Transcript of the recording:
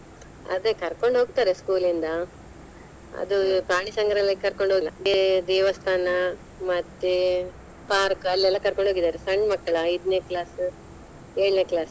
ಅದೇ ಕರ್ಕೊಂಡ ಹೋಗ್ತಾರೆ school ಇಂದ ಅದು ಪ್ರಾಣಿ ಸಂಗ್ರಹಾಲಯಕ್ಕೆ ಕರ್ಕೊಂಡ ಹೋಗ್ದೆ ದೇವಸ್ಥಾನ ಮತ್ತೆ park ಅಲ್ಲಿ ಎಲ್ಲಾ ಕರ್ಕೊಂಡ ಹೋಗಿದಾರೆ ಸಣ್ ಮಕ್ಳ ಐದ್ನೇ class ಏಳ್ನೆ class